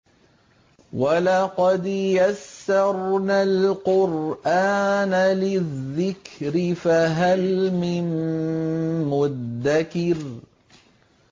وَلَقَدْ يَسَّرْنَا الْقُرْآنَ لِلذِّكْرِ فَهَلْ مِن مُّدَّكِرٍ